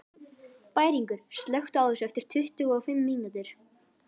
Bæringur, slökktu á þessu eftir tuttugu og fimm mínútur.